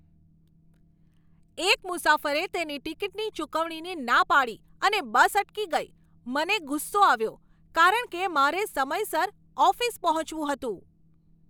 એક મુસાફરે તેની ટિકિટની ચૂકવણીની ના પાડી અને બસ અટકી ગઈ. મને ગુસ્સો આવ્યો કારણ કે મારે સમયસર ઓફિસ પહોંચવું હતું.